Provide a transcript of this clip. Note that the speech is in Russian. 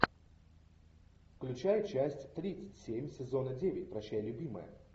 включай часть три семь сезона девять прощай любимая